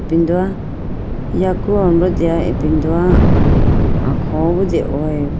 Ipindoya yaku alombro deya ipindoya akholo bi dehoyibo.